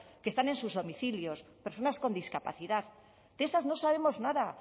que están en sus domicilios personas con discapacidad de esas no sabemos nada